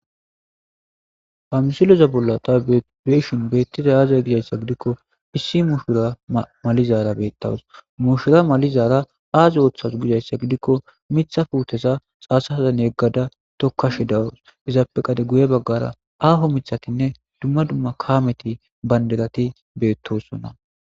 ha misiloza bolla ta beeshin beettida aaza gizayssa gidikko issi muushura malizaara beettawus mushura malizaara aazi ooththasu gizayssa gidikko mitha fuutesa xaasazan yeggada tokkashi dawus izaapeqade guye baggara aaho mithatinne dumma dumma kaameti bandelati beettosunna